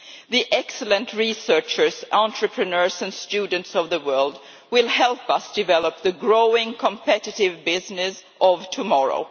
The excellent researchers, entrepreneurs and students of the world will help us develop the growing competitive business of tomorrow.